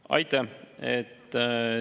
Aitäh!